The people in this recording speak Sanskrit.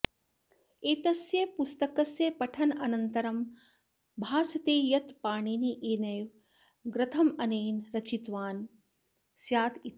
एतस्य पुस्तकस्य पठनानन्तरं भासते यत् पाणिनिरेव ग्रन्थमेनं रचितवान् स्यादिति